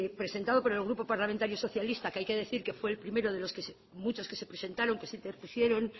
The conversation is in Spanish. presentado por el grupo parlamentario socialista que hay que decir que fue el primero de los muchos que se presentaron que se interpusieron